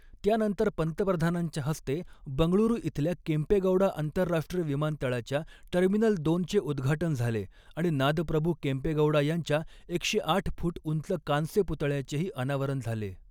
त्यानंतर पंतप्रधानांच्या हस्ते बंगळुरू इथल्या केंपेगौडा आंतरराष्ट्रीय विमानतळाच्या टर्मिनल दोनचे उदघाटन झाले आणि नादप्रभू केम्पेगौड़ा यांच्या एकशे आठ फुट उंच कांस्य पुतळ्याचेही अनावरन झाले.